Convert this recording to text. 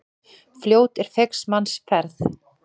Fljót er feigs manns ferð.